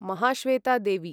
Mahasweta Devi